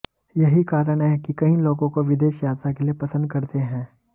यही कारण है कि कई लोगों को विदेश यात्रा के लिए पसंद करते हैं है